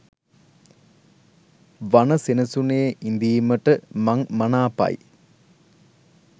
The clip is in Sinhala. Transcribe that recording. වන සෙනසුනේ ඉඳීමට මං මනාපයි.